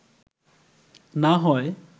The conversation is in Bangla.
না হয়